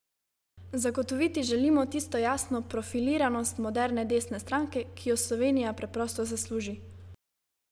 Zagotoviti želimo tisto jasno profiliranost moderne desne stranke, ki jo Slovenija preprosto zasluži!